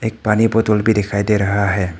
एक पानी बोतल भी दिखाई दे रहा है।